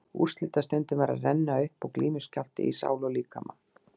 Úrslitastundin var að renna upp og glímuskjálfti í sál og líkama.